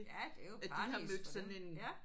Ja det er jo paradis for dem ja